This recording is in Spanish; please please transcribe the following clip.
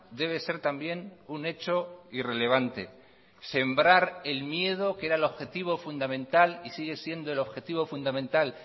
debe ser también un hecho irrelevante sembrar el miedo que era el objetivo fundamental y sigue siendo el objetivo fundamental